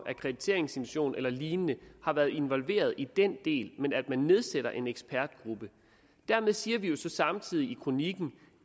akkrediteringsinstitutionen eller lignende har været involveret i den del men at man nedsætter en ekspertgruppe dermed siger vi jo så samtidig i kronikken